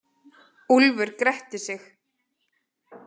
Úlfur gretti sig.